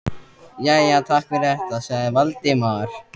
Jæja, takk fyrir þetta- sagði Valdimar.